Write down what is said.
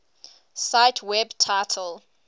cite web title